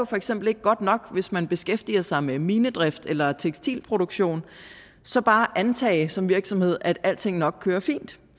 for eksempel ikke godt nok hvis man beskæftiger sig med minedrift eller tekstilproduktion så bare at antage som virksomhed at alting nok kører fint